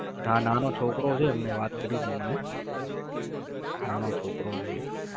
હા નાનો છોકરો છે અમને વાત કરી તી મને, નાનો છોકરો છે